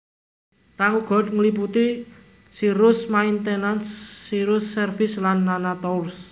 Kang uga ngliputi Cirrus Maintenance Cirrus Service lan nana tours